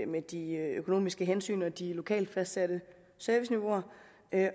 med de økonomiske hensyn og de lokalt fastsatte serviceniveauer